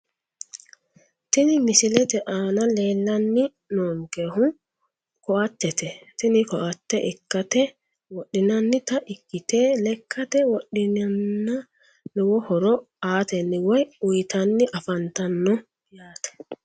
Tini misilete aana leellanni noonkehu koattete tini koatte lkkate wodhinannita ikkite lekkate wodhineenna lowo horo aatenni woyi uyitanni afantanno yaate